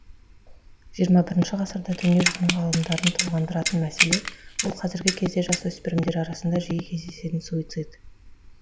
жиырма бірінші ғасырда дүние жүзінің ғалымдарын толғандыратын мәселе ол қазіргі кезде жасөспірімдер арасында жиі кездесетін суицид